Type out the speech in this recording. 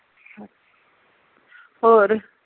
ਹੋਰ